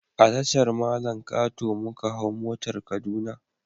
A Tashar mallan kato muka hau motar kaduna